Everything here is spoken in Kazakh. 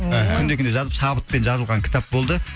мхм күнде күнде жазып шабытпен жазылған кітап болды